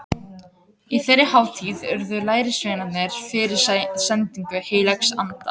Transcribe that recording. Á þeirri hátíð urðu lærisveinarnir fyrir sendingu heilags anda.